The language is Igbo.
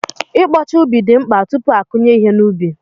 I kpocha ubi dị mkpa tupu a kụnye ihe n'ubi.